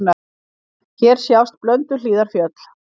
Hér sjást Blönduhlíðarfjöll.